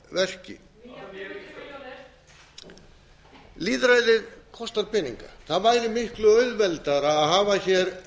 verki nýjar fimm hundruð milljónir lýðræðið kostar peninga það væri miklu auðveldara að hafa hér